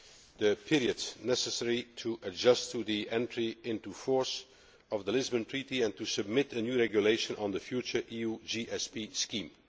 the period necessary to adjust to the entry into force of the Lisbon Treaty and to submit a new regulation on the future EU GSP scheme.